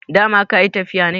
dama ka yi tafiya ne?